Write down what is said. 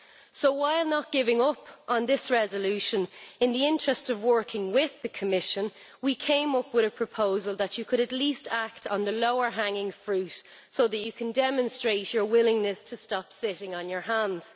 So while not giving up on this resolution, in the interests of working with the Commission we came up with a proposal where, Commissioner, you could at least act on the lower hanging fruit so that you can demonstrate your willingness to stop sitting on your hands.